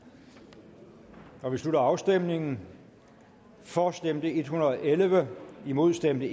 vi slutter afstemningen for stemte en hundrede og elleve imod stemte